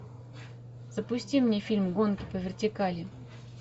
запусти мне фильм гонки по вертикали